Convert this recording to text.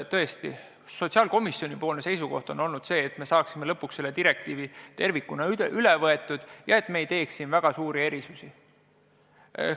Tõesti, sotsiaalkomisjoni seisukoht on olnud, et tuleb lõpuks see direktiiv tervikuna üle võtta ja et me ei teeks selles osas väga suuri erisusi.